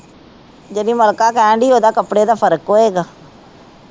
ਜੇਹੜੀ ਮਲਕਾ ਕਹਿਣ ਡੀ ਓਹਦਾ ਕੱਪੜੇ ਦਾ ਫਰਕ ਹੋਏਗਾ